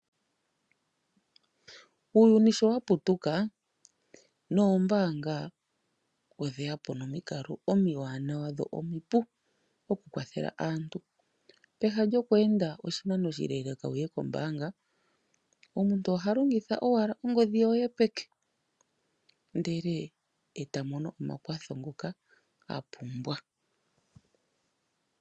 Uuyuni sho waputukaa noombaanga odheyapo nomikalo omiwanawa dho omipu okukwathela aantu, peha lyoku enda oshinano oshile wuye kombaanga, omuntu ohalongitha owala ongodhi yopeke ndele etamono omakwatho ngoka apumbwa.